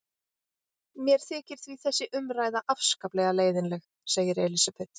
Mér þykir því þessi umræða afskaplega leiðinleg, segir Elísabet.